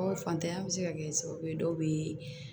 Fantanya bɛ se ka kɛ sababu ye dɔw bɛ